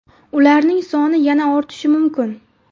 Ularning soni yana ortishi mumkin.